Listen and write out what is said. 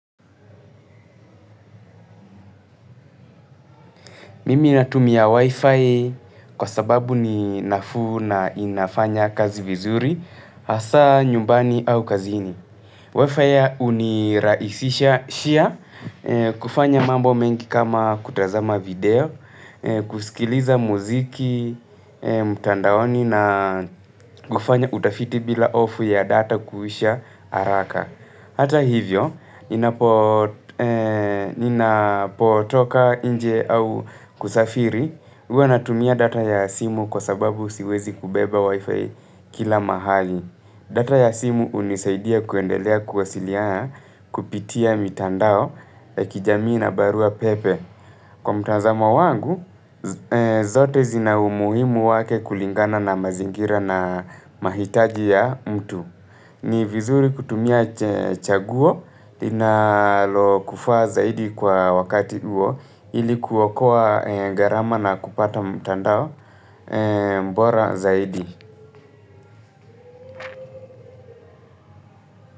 Mimi natumia Wi-Fi kwa sababu ni nafuu na inafanya kazi vizuri, hasa nyumbani au kazini. Wi-Fi uniraisisha shia kufanya mambo mengi kama kutazama video, kusikiliza muziki, mtandaoni na kufanya utafiti bila hofu ya data kuisha haraka. Hata hivyo, ninapotoka inje au kusafiri, huwa natumia data ya simu kwa sababu siwezi kubeba wifi kila mahali. Data ya simu unisaidia kuendelea kuwasilia kupitia mitandao ya kijamii na barua pepe. Kwa mtanzamo wangu, zote zina umuhimu wake kulingana na mazingira na mahitaji ya mtu. Ni vizuri kutumia chaguo linalokuvaa zaidi kwa wakati huo ili kuokoa garama na kupata mtandao bora zaidi.